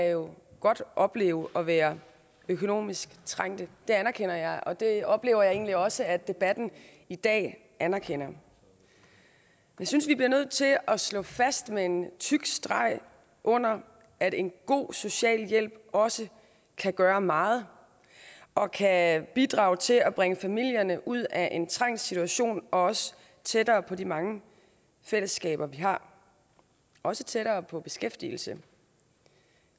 jo godt opleve at være økonomisk trængte det anerkender jeg og det oplever jeg egentlig også at debatten i dag anerkender jeg synes vi bliver nødt til at slå fast med en tyk streg under at en god socialhjælp også kan gøre meget og kan bidrage til at bringe familierne ud af en trængt situation og også tættere på de mange fællesskaber vi har også tættere på beskæftigelse